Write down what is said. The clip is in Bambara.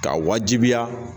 Ka wajibiya